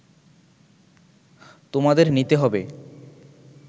তোমাদের নিতে হবে